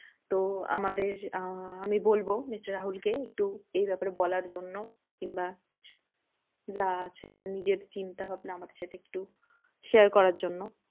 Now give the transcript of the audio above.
তো আমাদের আহ আমি বলবো mister রাহুল কে, একটু এই ব্যাপারে বলার জন্য। কিংবা যা আছে নিজের চিন্তা ভাবনা আমাদের সাথে একটু share করার জন্য।